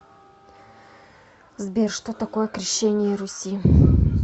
сбер что такое крещение руси